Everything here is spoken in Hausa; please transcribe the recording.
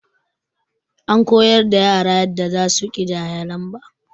An koyar da yara yanda zasu ƙidaya lamba.